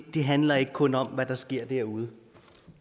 det handler ikke kun om hvad der sker derude